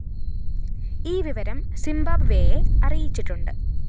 ഈ വിവരം സിംബാബ്‌വെയെ അറിയിച്ചിട്ടുണ്ട്